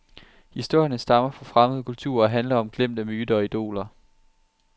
Historierne stammer fra fremmede kulturer og handler om glemte myter og idoler.